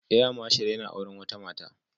Air Marshal yana auren wata Mata